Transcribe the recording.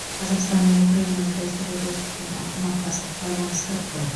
қазақстан мен украинаны дәстүрлі достық және ынтымақтастық байланыстырып тұр